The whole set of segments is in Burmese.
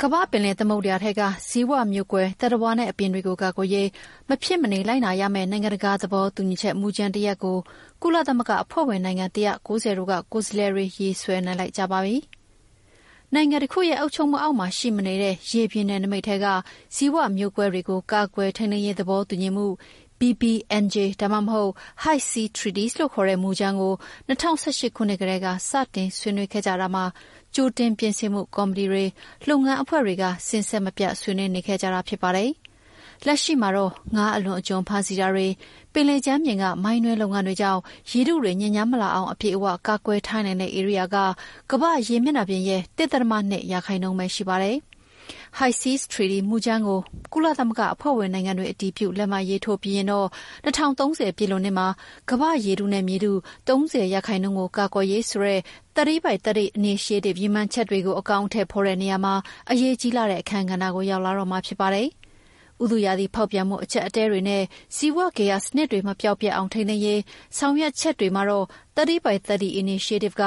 ကမ္ဘာ့ပင်လယ်သမုဒ္ဒရာထဲက ဇီဝမျိုးကွဲသတ္တဝါနဲ့ အပင်တွေကိုကာကွယ်ရေး မဖြစ်မနေလိုက်နာရမယ့် နိုင်ငံတကာသဘောတူညီချက် မူကြမ်းတရပ်ကို ကုလသမဂ္ဂအဖွဲ့ဝင်နိုင်ငံ ၁၉၀ တို့က ကိုယ်စားလှယ်တွေ ရေးဆွဲနိုင်လိုက်ကြပါပြီ။ နိုင်ငံတခုရဲ့ အုပ်ချုပ်မှုအောက်မှာရှိမနေတဲ့ ရေပြင်နယ်နိမိတ်ထဲက ဇီဝမျိုးကွဲတွေကို ကာကွယ် ထိန်းသိမ်းရေးသဘောတူညီမှု BBNJ ဒါမှမဟုတ် High Seas Treaty လို့ခေါ်တဲ့ မူကြမ်းကို ၂၀၁၈ ခုနှစ်ကတည်းက စတင်ဆွေးနွေးခဲ့ကြတာမှာ ကြိုတင်ပြင်ဆင်မှုကော်မတီတွေ၊ လုပ်ငန်းအဖွဲ့တွေက စဉ်ဆက်မပြတ်ဆွေးနွေးနေခဲ့ကြတာဖြစ်ပါတယ်။ လက်ရှိမှာတော့ ငါးအလွန်အကျွံဖမ်းဆီးတာတွေ၊ ပင်လယ်ကြမ်းပြင်က မိုင်းတွင်းလုပ်ငန်းတွေကြောင့် ရေထုတွေညစ်ညမ်းမလာအောင် အပြည့်အဝ ကာကွယ်ထားနိုင်တဲ့ဧရိယာက ကမ္ဘာ့ရေမျက်နှာပြင်ရဲ့ ၁.၂ ရာခိုင်နှုန်းပဲ ရှိပါတယ်။ High Seas Treaty မူကြမ်းကို ကုလအဖွဲ့ဝင်နိုင်ငံတွေ အတည်ပြု လက်မှတ်ရေးထိုးပြီး ရင်တော့ ၂၀၃၀ ပြည့်လွန်နှစ်မှာ ကမ္ဘာ့ရေထုနဲ့ မြေထု ၃၀ ရာခိုင်နှုန်းကို ကာကွယ်ရေး-ဆိုတဲ့ 30 by 30 initiative ရည်မှန်းချက်တွေ အကောင်အထည် ဖော်တဲ့နေရာမှာ အရေးကြီးလှတဲ့အခန်းကဏ္ဍကို ရောက်လာမှာဖြစ်ပါတယ်။ ဥတုရာသီဖောက်ပြန်မှုအကျပ်အတည်းတွေနဲ့ ဇီဝဂေဟစနစ်တွေ မပျောက်ပျက်အောင်ထိန်းသိမ်းရေး ဆောင်ရွက်ချက်တွေမှာ 30X30 initiative က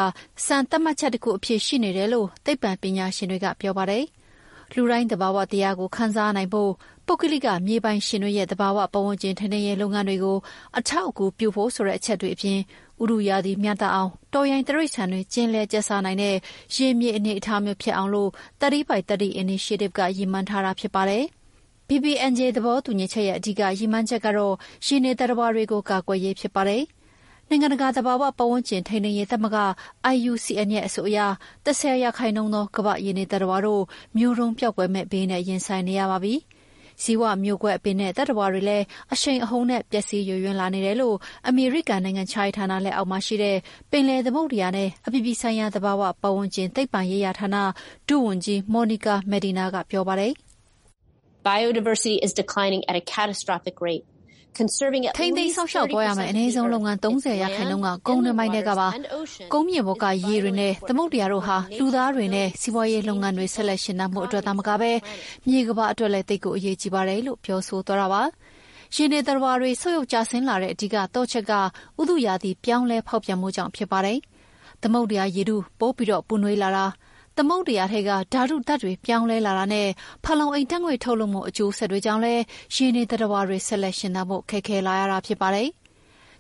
စံသတ်မှတ်ချက်တခုအဖြစ် ရှိနေတယ်လို့ သိပ္ပံပညာရှင်တွေက ပြောပါတယ်။ လူတိုင်း သဘာဝတရားကို ခံစားနိုင်ဖို့၊ ပုဂ္ဂလိကမြေပိုင်ရှင်တွေရဲ့ သဘာဝပတ်ဝန်းကျင် ထိန်းသိမ်းရေးလုပ်ငန်းတွေကို အထောက်အကူပြုဖို့အပြင် ဥတုရာသီမျှတအောင်၊ တောရိုင်းတိရစ္ဆာန်တွေ ကျင်လည်ကျက်စားနိုင်တဲ့ ရေမြေအနေအထားမျိုးဖြစ်အောင် 30x30 initiative က ရည်မှန်းထားတာဖြစ်ပါတယ်။ BBNJ သဘောတူညီချက်ရဲ့ အဓိကရည်မှန်းချက်ကတော့ ရေနေသတ္တဝါတွေကိုကာကွယ်ရေးဖြစ်ပါတယ်။ နိုင်ငံတကာ သဘာပတ်ဝန်းကျင်ထိန်းသိမ်းရေး သမဂ္ဂ IUCN ရဲ့အဆိုအရ ၁၀ % သော ကမ္ဘာ့ရေနေသတ္တဝါတို့ မျိုးတုန်းပျောက်ကွယ်မယ့်ဘေးနဲ့ရင်ဆိုင်နေရပါပြီ။ ဇီဝမျိုးကွဲအပင်နဲ့သတ္တဝါတွေလည်း အရှိန်အဟုန်နဲ့ ပျက်စီးယိုယွင်းလာနေတယ်လို့ အမေရိကန်နိုင်ငံခြားရေးဌာနလက်အောက်မှာရှိတဲ့ ပင်လယ်သမုဒ္ဒရာနဲ့ အပြည်ပြည်ဆိုင်ရာ သဘာဝပတ်ဝန်းကျင်နဲ့ သိပ္ပံရေးရာဌာန ဒုဝန်ကြီး Monica Medina ကပြောပါတယ်။ “ထိန်းသိမ်းစောင့်ရှောက်သွားရမယ့် အနည်းဆုံးလုပ်ငန်း ၃၀ ရာခိုင်နှုန်းက ကုန်းတွင်းပိုင်းထဲကပါ။ ကုန်းမြေပေါ်က ရေတွေနဲ့သမုဒ္ဒရာတို့ဟာ လူသားတွေနဲ့ စီးပွါးရေးလုပ်ငန်းတွေ ဆက်လက်ရှင်သန်ဖို့အတွက်သာမကဘဲ မြေကမ္ဘာအတွက်လည်း သိပ်ကိုအရေးကြီးပါတယ်။” ရေနေသတ္တဝါတွေ ဆုတ်ယုတ်ကျဆင်းလာတဲ့အဓိကသော့ချက်က ဥတုရာသီပြောင်းလဲဖောက်ပြန်မှုကြောင့် ဖြစ်ပါတယ်။ သမုဒ္ဒရာရေထု ပိုပြီးပူနွေးလာတာ၊ သမုဒ္ဒရာ ဓာတုဓာတ်တွေပြောင်းလဲလာတာနဲ့ ဖန်လုံအိမ်ဓာတ်ငွေ့ထုတ်လွှတ်မှု အကျိုးဆက်တွေကြောင့်လည်း ရေနေသတ္တဝါတွေ ဆက်လက်ရှင်သန်ဖို့ ခက်ခဲလာရတာဖြစ်ပါတယ်။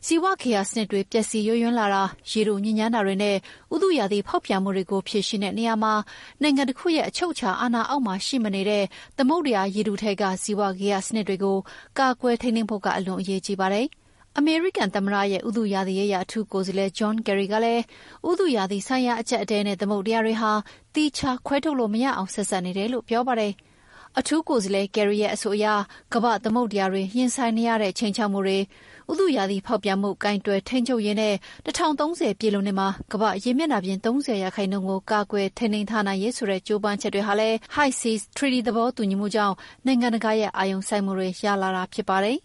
ဇီဝဂေဟစနစ်တွေပျက်စီးယိုယွင်းလာတာ၊ ရေထုညစ်ညမ်းတာတွေနဲ့ ဥတုရာသီဖောက်ပြန်မှုတွေကို ဖြေရှင်းတဲ့နေရာမှာ နိုင်ငံတခုရဲ့အချုပ်အခြာအာဏာအောက်မှာရှိမနေတဲ့ သမုဒ္ဒရာရေထုထဲက ဇီဝဂေဟစနစ်တွေကို ကာကွယ်ထိန်းသိမ်းဖို့က အလွန်အရေးကြီးပါတယ်။ အမေရိကန်သမ္မတရဲ့ ဥတုရာသီရေးရာ အထူးကိုယ်စားလှယ် John Kerry ကလည်း ဥတုရာသီဆိုင်ရာအကျပ်အတည်းနဲ့ သမုဒ္ဒရာတွေဟာ သီးခြားခွဲထုတ်လို့မရအောင် ဆက်စပ်နေတယ်လို့ ပြောပါတယ်။ အထူးကိုယ်စားလှယ် Kerry ရဲ့အဆိုအရ ကမ္ဘာ့သမုဒ္ဒရာတွေ ရင်ဆိုင်နေရတဲ့ ခြိမ်းခြောက်မှုတွေ၊ ဥတုရာသီဖောက်ပြန်မှု ကိုင်တွယ်ထိန်းချုပ်ရေးနဲ့ ၂၀၃၀ ပြည့်လွန်နှစ်မှာ ကမ္ဘာ့ရေမျက်နှာပြင် ၃၀ ရာခိုင်နှုန်းကို ကာကွယ်ထိန်းသိမ်းထားနိုင်ရေး-ဆိုတဲ့ ကြိုးပမ်းချက်တွေဟာလည်း High Seas Treaty သဘောတူညီမှုကြောင့် နိုင်ငံတကာရဲ့အာရုံစိုက်မှုတွေရလာတာဖြစ်ပါတယ်